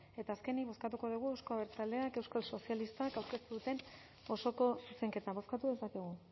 eta azkenik bozkatuko dugu euzko abertzaleak euskal sozialistak aurkeztu duten osoko zuzenketa bozkatu dezakegu